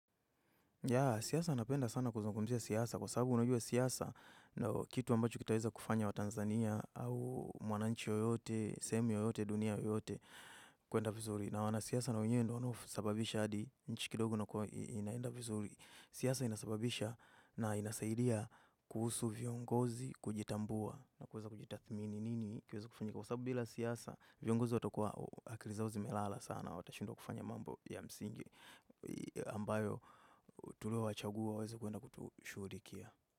Yeah, siasa napenda sana kuzungumzia siasa kwa sababu unajua siasa ndio kitu ambacho kitaweza kufanya watanzania au mwananchi yoyote, sehemu yoyote, dunia yoyote kuenda vizuri. Na wana siasa na wenyewe ndio wanaosababisha hadi nchi kidogo inakua inaenda vizuri. Siasa inasababisha na inasaidia kuhusu viongozi, kujitambua na kuweza kujitadhmini nini kiweze kufanyika. Kwa sababu bila siasa, viongozi watakuwa, akili zao zimelala sana, watashindwa kufanya mambo ya msingi ambayo tulio wachagua waweze kuwenda kutushurikia.